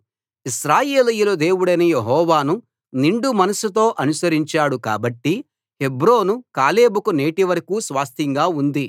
ఇశ్రాయేలీయుల దేవుడైన యెహోవాను నిండు మనస్సుతో అనుసరించాడు కాబట్టి హెబ్రోను కాలేబుకు నేటివరకూ స్వాస్థ్యంగా ఉంది